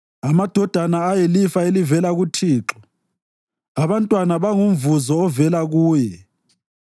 Amadodana ayilifa elivela kuThixo, abantwana bangumvuzo ovela kuye.